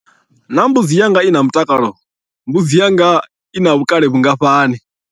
Naa mbudzi yanga i na mutakalo? Mbudzi yanga ina vhukale vhungafhani?